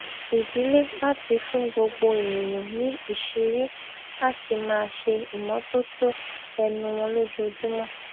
ìdílé láti fún gbogbo ènìyàn ní ìṣìírí láti máa ṣe ìmótótó ẹnu wọn lójoojúmọ